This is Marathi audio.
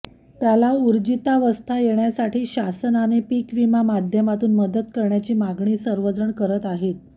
त्याला उर्जीतावस्था येण्यासाठी शासनाने पिकविमा माध्यमातून मदत करण्याची मागणी सर्व जण करत आहेत